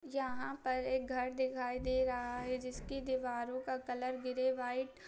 यहाँ पर एक घर दिखाई दे रहा है जिसकी दीवारों का कलर ग्रे वाइट --